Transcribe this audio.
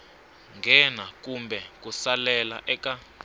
nghena kumbe ku salela eka